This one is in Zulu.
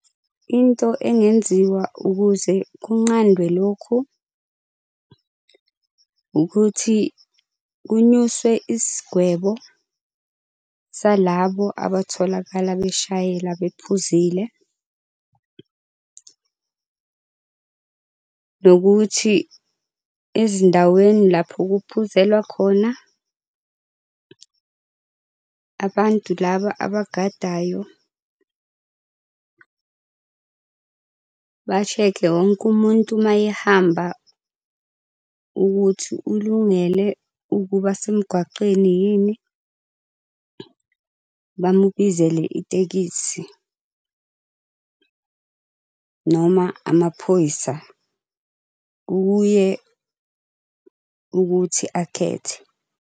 Into engenziwa ukuze kunqandwe lokhu ukuthi kunyuswe isigwebo salabo abatholakala beshayela bephuzile. Nokuthi ezindaweni lapho kuphuzelwa khona, abantu laba abagadayo bashekhe wonke umuntu uma ehamba ukuthi ulungele ukuba semgwaqeni yini, bamubizele itekisi. Noma amaphoyisa, kukye ukuthi akhethe.